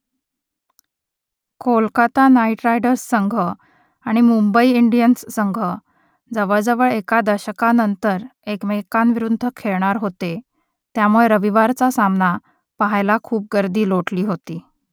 Kolkata Knight Riders संघ आणि Mumbai Indians संघ जवळजवळ एका दशकानंतर एकमेकांविरुद्ध खेळणार होते त्यामुळे रविवारचा सामना पहायला खूप गर्दी लोटली होती